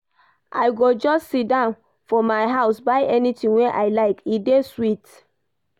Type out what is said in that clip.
I go just siddon for my house buy anytin wey I like, e dey sweet.